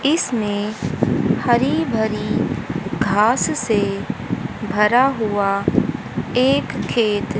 इसमें हरी भरी घास से भरा हुआ एक खेत--